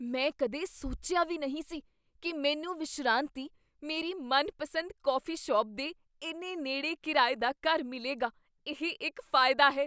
ਮੈਂ ਕਦੇ ਸੋਚਿਆ ਵੀ ਨਹੀਂ ਸੀ ਕੀ ਮੈਨੂੰ ਵਿਸ਼ਰਾਂਤੀ, ਮੇਰੀ ਮਨਪਸੰਦ ਕੌਫੀ ਸ਼ਾਪ, ਦੇ ਇੰਨੇ ਨੇੜੇ ਕਿਰਾਏ ਦਾ ਘਰ ਮਿਲੇਗਾ ਇਹ ਇੱਕ ਫ਼ਾਇਦਾ ਹੈ!